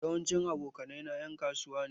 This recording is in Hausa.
Yawancin abokanai na en kasuwa ne.